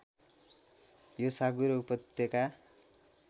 यो साँगुरो उपत्यका